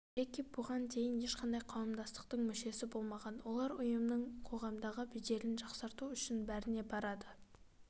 джеки бұған дейін ешқандай қауымдастықтың мүшесі болмаған олар ұйымның қоғамдағы беделін жақсарту үшін бәріне барады